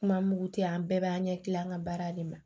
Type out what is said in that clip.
Kuma mugu tɛ an bɛɛ b'an ɲɛ kilen an ka baara de ma